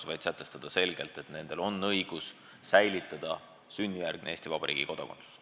Tahame sätestada selgelt, et nendel on õigus säilitada sünnijärgne Eesti Vabariigi kodakondsus.